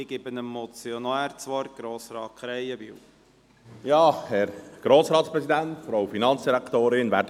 Ich gebe dem Motionär, Grossrat Krähenbühl, das Wort.